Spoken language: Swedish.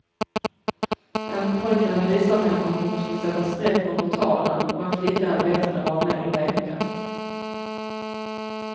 En pojke hade visat henne hur hon skulle sätta streck under talen och en flicka hade bett henne vara med och leka.